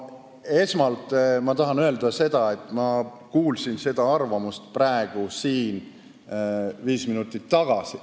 Esmalt ma tahan öelda seda, et ma kuulsin sellest arvamusest praegu siin viis minutit tagasi.